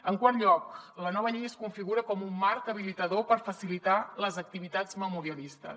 en quart lloc la nova llei es configura com un marc habilitador per facilitar les activitats memorialistes